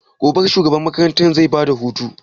Gobe shugaban makaranta zai ba da hutu?